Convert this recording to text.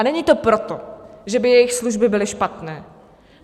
A není to proto, že by jejich služby byly špatné.